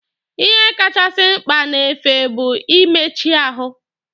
Ihe kacha mkpa n'efe bụ ị méchí ahụ.